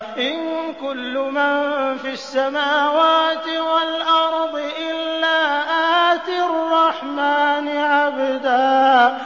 إِن كُلُّ مَن فِي السَّمَاوَاتِ وَالْأَرْضِ إِلَّا آتِي الرَّحْمَٰنِ عَبْدًا